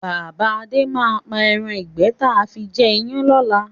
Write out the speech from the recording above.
Bàbá Adé máa pa ẹran ìgbẹ́ taa fi jẹ iyán lọ́la.